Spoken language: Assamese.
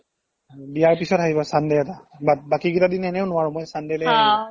বিয়াৰ পিছত আহিবা sunday এটাত but বাকি কেইটা দিন এনেও নোৱাৰো মই sunday লৈ আহিবা